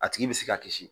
A tigi bɛ se ka kisi